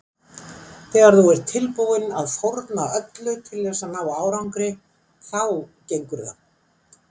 Þegar þú ert tilbúinn að fórna öllu til þess að ná árangri þá gengur það.